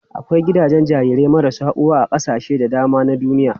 Akwai gidajen jarirai marasa uwa a kasashe da dama na duniya.